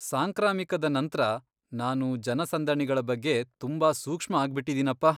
ಸಾಂಕ್ರಾಮಿಕದ ನಂತ್ರ ನಾನು ಜನಸಂದಣಿಗಳ ಬಗ್ಗೆ ತುಂಬಾ ಸೂಕ್ಷ್ಮ ಆಗ್ಬಿಟಿದೀನಪ್ಪ.